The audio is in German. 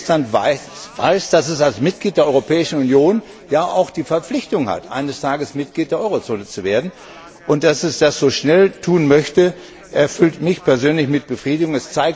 Estland weiß, dass es als Mitglied der Europäischen Union auch die Verpflichtung hat, eines Tages Mitglied der Eurozone zu werden, und dass es das so schnell tun möchte, erfüllt mich persönlich mit Befriedigung.